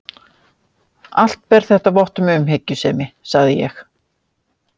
Allt ber þetta vott um umhyggjusemi, sagði ég.